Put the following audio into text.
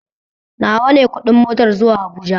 Nawa ne ƙudin motar zuwa habuja?